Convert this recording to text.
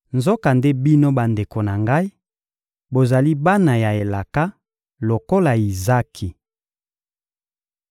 Nzokande bino bandeko na ngai, bozali bana ya elaka, lokola Izaki.